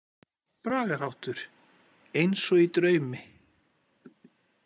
Bragarháttur: „Eins og í draumi“.